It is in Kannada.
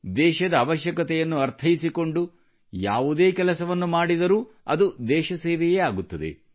ದೇಶದ ಅವಶ್ಯಕತೆಯನ್ನು ಅರ್ಥೈಸಿಕೊಂಡು ಯಾವುದೇ ಕೆಲಸವನ್ನು ಮಾಡಿದರೂ ಅದು ದೇಶಸೇವೆಯೇ ಆಗುತ್ತದೆ